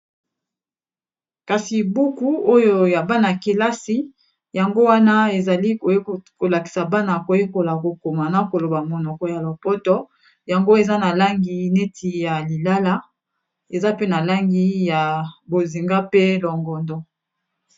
kasi buku oyo ya bana-kelasi yango wana ezali kolakisa bana koyekola kokoma na koloba monoko ya lo poto yango eza na langi neti ya lilala eza pe na langi ya bozinga pe longondo